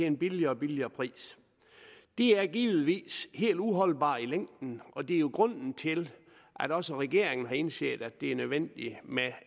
en billigere og billigere pris det er givetvis helt uholdbart i længden og det er jo grunden til at også regeringen har indset at det er nødvendigt med